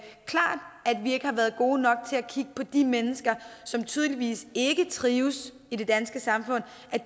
vi ikke har været gode nok til at kigge på de mennesker som tydeligvis ikke trives i det danske samfund